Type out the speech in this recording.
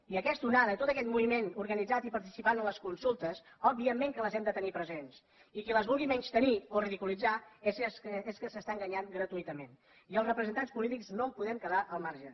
i aquesta onada i tot aquest moviment organitzat i participant a les consultes òbviament que els hem de tenir presents i qui els vulgui menystenir o ridiculitzar és que s’està enganyant gratuïtament i els representants polítics no en podem quedar al marge